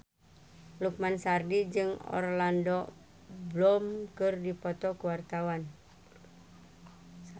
Lukman Sardi jeung Orlando Bloom keur dipoto ku wartawan